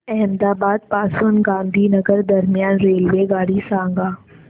अहमदाबाद पासून गांधीनगर दरम्यान रेल्वेगाडी सांगा